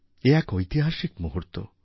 এ এক ঐতিহাসিক মুহূর্ত